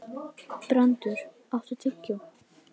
Brandr, áttu tyggjó?